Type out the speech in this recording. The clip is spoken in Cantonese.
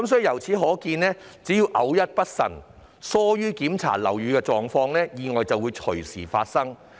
由此可見，只要偶一不慎，疏於檢查樓宇情況，意外便會隨時發生。